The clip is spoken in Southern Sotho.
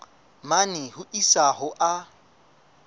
mane ho isa ho a